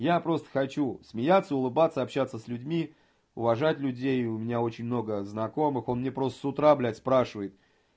я просто хочу смеяться улыбаться общаться с людьми уважать людей у меня очень много знакомых он мне просто с утра блядь спрашивает